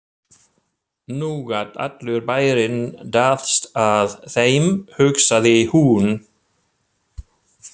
Nú gat allur bærinn dáðst að þeim, hugsaði hún.